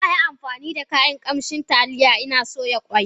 Na yi amfani da kayan kamshin taliya in soya ƙwai.